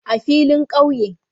A filin kauye